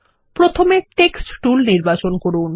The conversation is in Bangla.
প্রথমে টেক্সট টুল নির্বাচন করুন